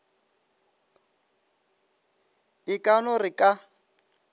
e ka no re ka